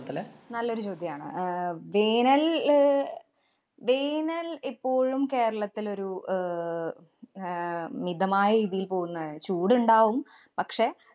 നല്ലൊരു ചോദ്യാണ്. അഹ് വേനല്‍ ല് വേനല്‍ എപ്പോഴും കേരളത്തിലൊരു ആഹ് ആഹ് മിതമായ ഇതില്‍ പോകുന്നതാ, ചൂടുണ്ടാവും. പക്ഷേ,